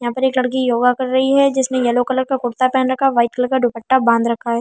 यहाँ पे एक लड़की योगा कर रही है जिसने येलो कलर का कुरता पहन रखा है वाइट कलर का दुपट्टा बांध रखा है।